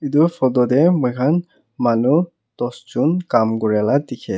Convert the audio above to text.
etu photo teh moi khan manu dosjon kam kori laga dekhi--